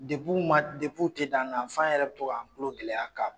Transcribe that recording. u tɛ d'an na f'an yɛrɛ bɛ to ka an tulo gɛlɛya ka